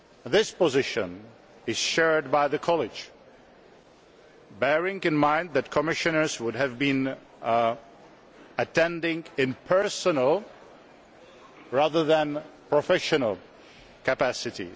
This position is shared by the College, bearing in mind that Commissioners would have been attending in a personal rather than a professional capacity.